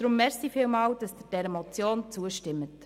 Darum vielen Dank, wenn Sie der Motion zustimmen.